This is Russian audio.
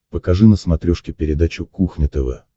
покажи на смотрешке передачу кухня тв